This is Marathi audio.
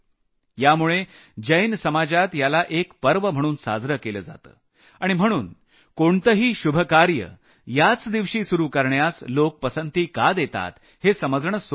यामुळे जैन समाजात याला एक पर्व म्हणून साजरं केलं जातं आणि म्हणून या दिवशी लोक कोणतंही शुभ कार्य याच दिवशी सुरू करण्यास लोक पसंती का देतात हे समजणं सोपं आहे